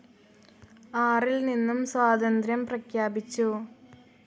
ആറിൽ നിന്നും സ്വാതന്ത്ര്യം പ്രഖ്യാപിച്ചു.